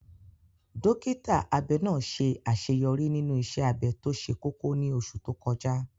Dókítà abẹ náà ṣe àṣeyọrí nínú iṣẹ́ abẹ tó ṣe kókó ní oṣù tó kọjá.